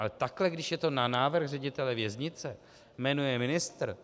Ale takhle, když je to na návrh ředitele věznice jmenuje ministr...